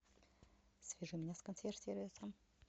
свяжи меня с консьерж сервисом